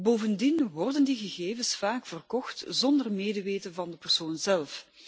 Bovendien worden die gegevens vaak verkocht zonder medeweten van de persoon zelf.